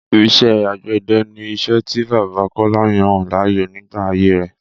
Ìṣe àgbẹ̀dẹ ni iṣẹ́ tí bàbá Kọ́lá yàn láàyò nígbà ayé rẹ́